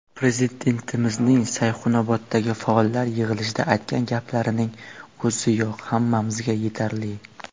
Prezidentimizning Sayxunoboddagi faollar yig‘ilishida aytgan gaplarining o‘ziyoq hammamizga yetarli.